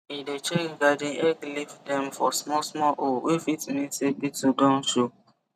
e dey check garden egg leaf dem for smallsmall hole wey fit mean say beetle don show